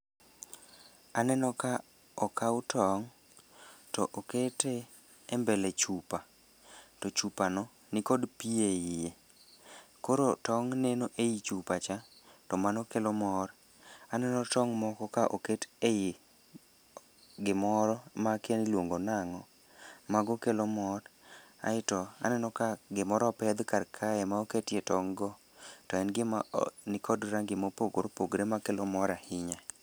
Aneno ka okaw tong', to okete e mbele chupa. To chupa no ni kod pi e iye, koro tong' neno ei chupa cha to mano kelo mor. Aneno tong' moko ka oket ei gimoro makia niluongo nang'o, mago kelo mor. Aeto aneno ka gimoro opedh kar kae ma oketie tong' go, to en gima nikod rangi ma opogore opogore ma kelo mor ahinya.